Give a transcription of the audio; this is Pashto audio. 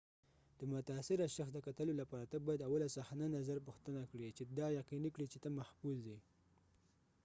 د متاثره شخص د کتلو لپاره ته باید اول صحنه نظر پوښتنه کړي چې دا یقینی کړي چې ته محفوظ یې